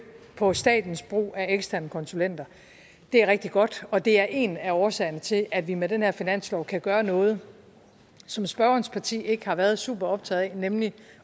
på statens brug af eksterne konsulenter det er rigtig godt og det er en af årsagerne til at vi med den her finanslov kan gøre noget som spørgerens parti ikke har været super optaget af nemlig